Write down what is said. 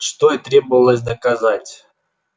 что и требовалось доказать